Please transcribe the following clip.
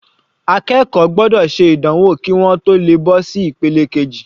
Akẹ́kọ̀ọ́ gbọ́dọ̀ ṣe ìdánwò kí wọ́n tó le bọ́ sí ìpele keji.